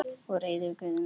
Og reiður Guði sínum.